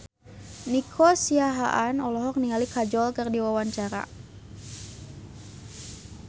Nico Siahaan olohok ningali Kajol keur diwawancara